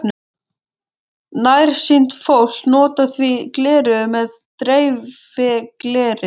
Nærsýnt fólk notar því gleraugu með dreifigleri.